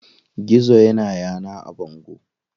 Gizo ya na yana a bango.